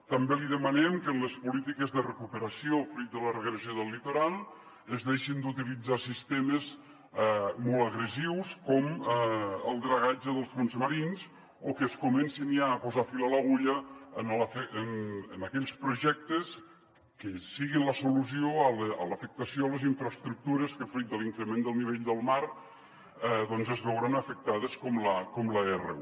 també li demanem que en les polítiques de recuperació fruit de la regressió del litoral es deixin d’utilitzar sistemes molt agressius com el dragatge dels fons marins o que es comenci ja a posar fil a l’agulla en aquells projectes que siguin la solució a l’afectació a les infraestructures que fruit de l’increment del nivell del mar doncs es veuran afectades com l’r1